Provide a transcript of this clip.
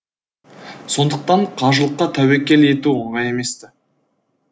сондықтан қажылыққа тәуекел ету оңай емес ті